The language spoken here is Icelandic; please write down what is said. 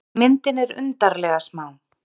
Myndin er undarlega smá.